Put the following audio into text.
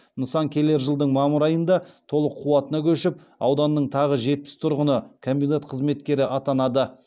нысан келер жылдың мамыр айында толық қуатына көшіп ауданның тағы жетпіс тұрғыны комбинат қызметкері атанады